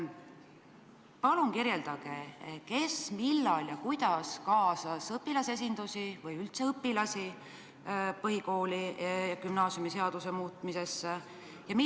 Palun öelge, kes, millal ja kuidas kaasas õpilasesindusi või üldse õpilasi põhikooli- ja gümnaasiumiseaduse muutmisesse?